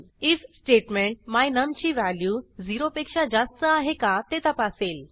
if statement my num ची value 0 पेक्षा जास्त आहे का ते तपासेल